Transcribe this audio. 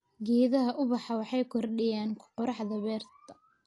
Geedaha ubaxa waxay kordhiyaan quruxda beerta.